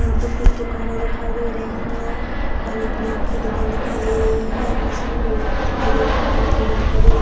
यहां पे कुछ दुकाने दिखाई दे रही है पानी-पुरी की दुकान दिखाई दे रही है जिसमे गोल-गप्पे दिखाई दे रहे है पानी की बॉटल दिखाई दे रही है।